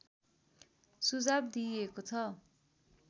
सुझाव दिइएको छ